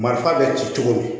Marifa bɛ ci cogo